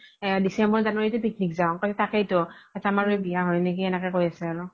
december january তে picnic যাও তাকেতো আমাৰ আৰু বিয়া হয় নেকি এনেকে কই আছে আৰু